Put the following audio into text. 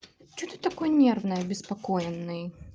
что ты такой нервный обеспокоенный